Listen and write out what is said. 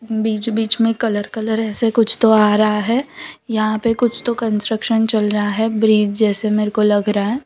बीच बीच में colour colour ऐसे कुछ तो आ रहा है यहां पे कुछ तो कंस्ट्रक्शन चल रहा है ब्रिज जैसे मेरे को लग रहा है।